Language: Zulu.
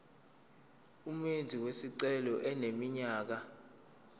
umenzi wesicelo eneminyaka